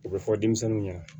O bɛ fɔ denmisɛnninw ɲɛna